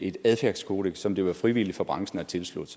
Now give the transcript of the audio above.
et adfærdskodeks som det var frivilligt for branchen at tilslutte